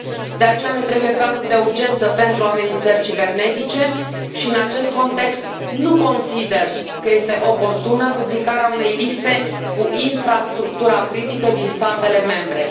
De aceea ne trebuie planuri de urgență pentru amenințări cibernetice și, în acest context, nu consider că este oportună publicarea unei liste cu infrastructura critică din statele membre.